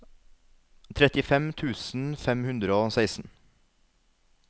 trettifem tusen fem hundre og seksten